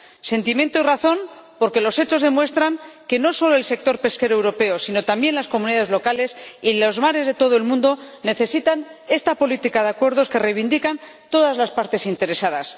Sentimiento y razón, porque los hechos demuestran que no solo el sector pesquero europeo sino también las comunidades locales y los mares de todo el mundo necesitan esta política de acuerdos que reivindican todas las partes interesadas.